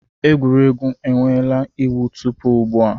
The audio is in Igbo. Egwuregwu enweela iwu tupu ugbu a.